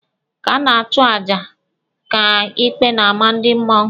Ka a na-achụ aja, ka ikpe na-ama ndị mmụọ.